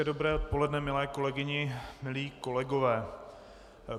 Hezké dobré odpoledne, milé kolegyně, milí kolegové.